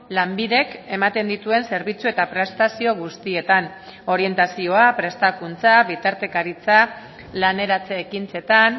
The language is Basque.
lanbidek ematen dituen zerbitzu eta prestazio guztietan orientazioa prestakuntza bitartekaritza laneratze ekintzetan